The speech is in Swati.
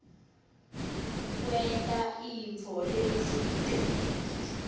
kwenta intfo letsite